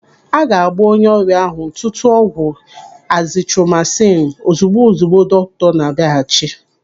Aga agba onye ọrịa ahụ ntụtụ ọgwụ azitromasinu ozigbo ozigbo dọkịta ahụ na-abịaghachi.